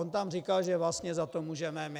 On tam říkal, že vlastně za to můžeme my.